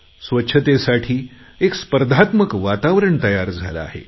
स्वच्छतेसाठी एक स्पर्धात्मक वातावरण तयार झाले आहे